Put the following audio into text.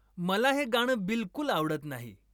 मला हे गाणं बिलकूल आवडत नाही